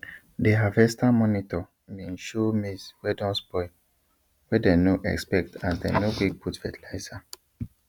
the harvester monitor been show maize wey don spoil wey dey no expect as dem no quick put fertilizer